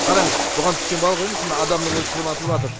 қараңыз бұған түскен балық емес мына адамнын өзі шырматылыватыр